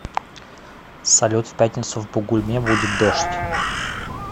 салют в пятницу в бугульме будет дождь